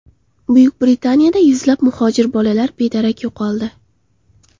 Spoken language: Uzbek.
Buyuk Britaniyada yuzlab muhojir bolalar bedarak yo‘qoldi.